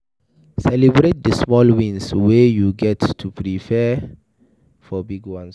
Celebrate di small wins wey you get to fit prepare for di big ones